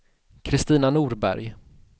Kristina Norberg